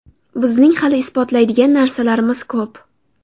Bizning hali isbotlaydigan narsamiz ko‘p.